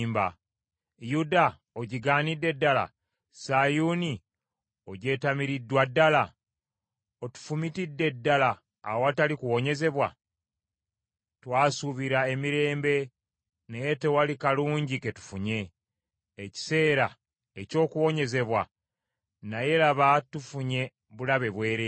Yuda ogigaanidde ddala? Sayuuni ogyetamiriddwa ddala? Otufumitidde ddala awatali kuwonyezebwa? Twasuubira emirembe naye tewali kalungi ke tufunye, ekiseera eky’okuwonyezebwa naye laba tufunye bulabe bwereere.